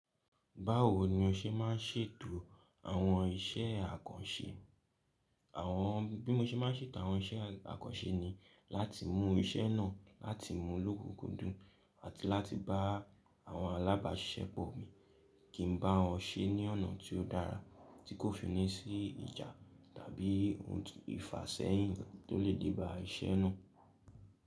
Báwo ni o ṣe ma ń ṣètò àwọn iṣẹ́ àkànṣe? Àwọn bí mo ṣe ma ń ṣètò àwọn iṣẹ́ àkànṣe ni láti mú iṣẹ́ náà láti mú lókùn dún àti láti bá àwọn alábàáṣiṣẹ́pọ̀ mi kí n bá wọn ṣe ní ọ̀nà tí ó dára tí kò fi ní sí ìjà tàbí ohun ìfàṣẹ́yìn tó lè díbà iṣẹ́ náà.